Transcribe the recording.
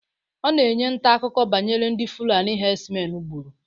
Ọ na-enye ntaakụkọ banyere ndị fulani hedsmen gburu